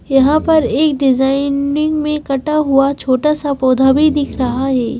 यहाँ पर एक डिजाइनिंग में कटा हुआ छोटा सा पौधा भी दिख रहा है।